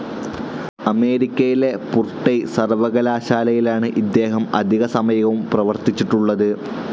അമേരിക്കയിലെ പുർടെയ് സർവകലാശാലയിലാണ് ഇദ്ദേഹം അധിക സമയവും പ്രവർത്തിച്ചിട്ടുള്ളത്.